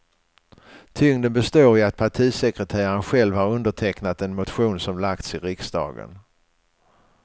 Tyngden består i att partisekreteraren själv har undertecknat den motion som lagts i riksdagen.